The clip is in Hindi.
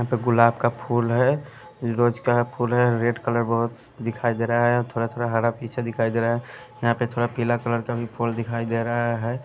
यहां पे गुलाब का फूल है रोज का फूल है रेड कलर बहुत दिखाई दे रहा है थोड़ा-थोड़ा हरा पीछे दिखाई दे रहा है यहां पे थोड़ा पीला कलर का भी फूल दिखाई दे रहा है।